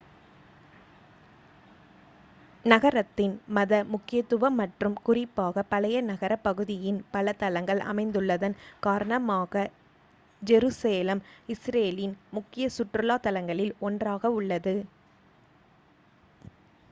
நகரத்தின் மத முக்கியத்துவம் மற்றும் குறிப்பாக பழைய நகரப் பகுதியின் பல தளங்கள் அமைந்துள்ளதன் காரணமாக ஜெருசலேம் இஸ்ரேலின் முக்கிய சுற்றுலா தலங்களில் ஒன்றாக உள்ளது